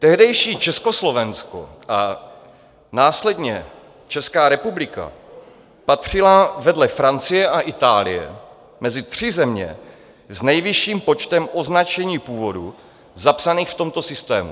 Tehdejší Československo a následně Česká republika patřila vedle Francie a Itálie mezi tři země s nejvyšším počtem označení původu zapsaných v tomto systému.